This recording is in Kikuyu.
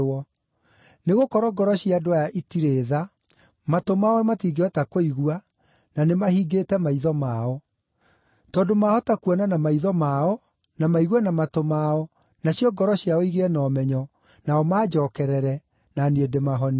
Nĩgũkorwo ngoro cia andũ aya itirĩ tha; matũ mao matingĩhota kũigua, na nĩmahingĩte maitho mao. Tondũ maahota kuona na maitho mao, na maigue na matũ mao, nacio ngoro ciao igĩe na ũmenyo, nao manjookerere, na niĩ ndĩmahonie.’